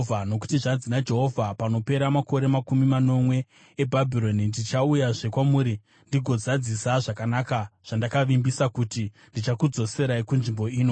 Nokuti zvanzi naJehovha: “Panopera makore makumi manomwe eBhabhironi, ndichauyazve kwamuri ndigozadzisa zvakanaka zvandakavimbisa kuti ndichakudzoserai kunzvimbo ino.